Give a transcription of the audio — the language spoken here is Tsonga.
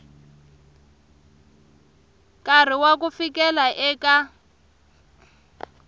nkarhi wa ku fikela eka